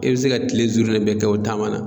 E bɛ se ka kile bɛɛ kɛ o taama na.